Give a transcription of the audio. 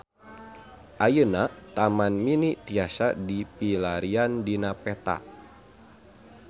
Ayeuna Taman Mini tiasa dipilarian dina peta